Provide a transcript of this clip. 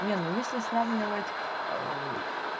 не ну если сравнивать